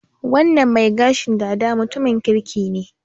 Wannan mai gashin dada mutumin kirki ne.